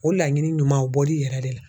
O laɲini ɲumanw o bɔl'i yɛrɛ de la.